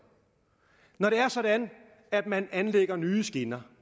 når det er sådan at man anlægger nye skinner